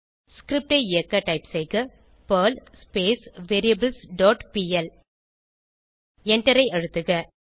script ஐ இயக்க type செய்க பெர்ல் வேரியபிள்ஸ் டாட் பிஎல் எண்டரை அழுத்துக